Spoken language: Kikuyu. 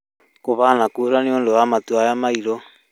Kuhana kura nĩũndũ wa matu maya mairũ